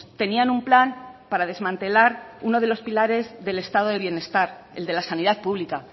tenían un plan para desmantelar uno de los pilares del estado del bienestar el de la sanidad pública